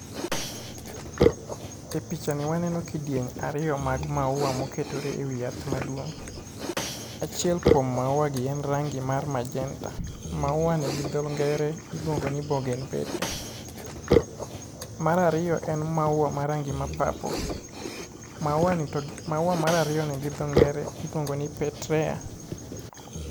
E pichani waneno kidieny ariyo mag maua moketore e wi yath maduong' Achiel kuom maua gi en rangi mar majenta. Mauani gi dho ngere iluongoni Bogen Velia. Mar ariyo en maua ma rangi ma purple. Maua mar ariyo gi dho ngere iluongo ni Petrea.